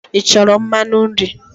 Ị chọrọ mmanụ nri?